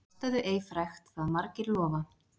Lastaðu ei frekt það margir lofa.